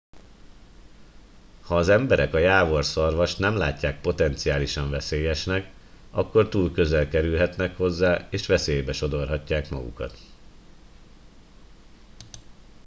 ha az emberek a jávorszarvast nem látják potenciálisan veszélyesnek akkor túl közel kerülhetnek hozzá és veszélybe sodorhatják magukat